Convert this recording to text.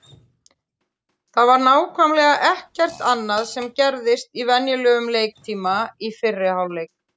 Það var nákvæmlega ekkert annað sem gerðist í venjulegum leiktíma í fyrri hálfleik.